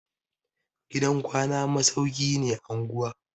Gidan kwana masauki ne anguwa.